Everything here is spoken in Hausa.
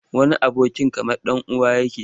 Wani abokin kamar ɗan uwa yake.